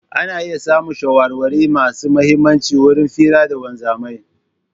Ana iya samun shawarwari masu mihimmaci wurin fira da wanzamai.